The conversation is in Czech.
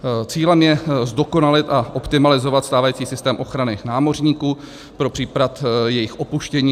Cílem je zdokonalit a optimalizovat stávající systém ochrany námořníků pro případ jejich opuštění.